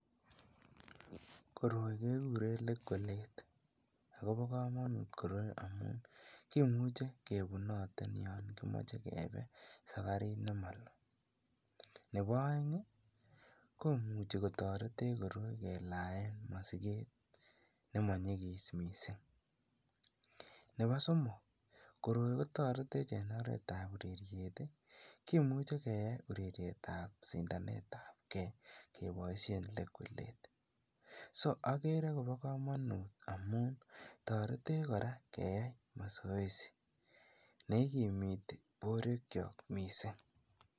Koroi kekuren lekwelet ak kobokomonut koroi amuun kimuche kebunoten yoon kimoche kebee sabarit nemoloo, nebo oeng komuche kotoretech koroi kelaen mosiket nemonyikis mising, nebo somok koroi kotoretech en oretab ureriet, kimuche keyaen urerietab sindanetabkee keboishen lekwelet, soo okere kobokomonut amuun toretech kora keyai masoesi neikimiti borwekiok mising.